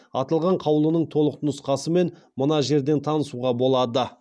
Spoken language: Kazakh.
аталған қаулының толық нұсқасымен мына жерден танысуға болады